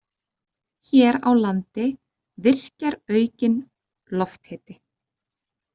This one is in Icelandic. Hér á landi virkjar aukinn lofthiti.